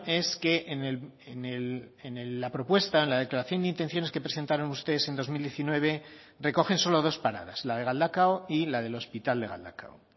es que en la propuesta en la declaración de intenciones que presentaron ustedes en dos mil diecinueve recogen solo dos paradas la de galdakao y la del hospital de galdakao